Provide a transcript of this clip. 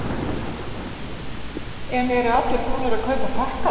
En eru allir búnir að kaupa pakkana?